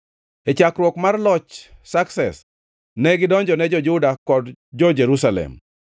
E chakruok mar loch Sakses, ne gidonjone jo-Juda kod jo-Jerusalem.